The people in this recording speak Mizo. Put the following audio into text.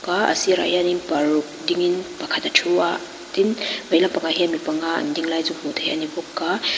a sirah hianin paruk dingin pakhat a thu a tin vei lampangah hian mi panga an ding lai chu hmuh theih a ni bawk a.